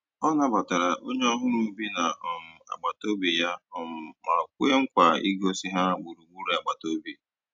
Ọ nàbàtàra ònyè ọ̀hụrụ́ bì na um àgbátobị̀ yà um mà kwéè nkwa ìgòsí ha gbùrùgbùrù àgbàtà òbì.